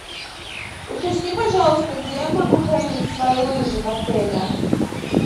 уточни пожалуйста где я могу хранить свои лыжи в отеле